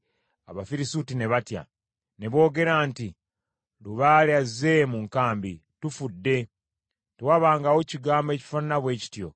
Abafirisuuti ne batya. Ne boogera nti, “Lubaale azze mu nkambi. Tufudde! Tewabangawo kigambo ekifaanana bwe kityo.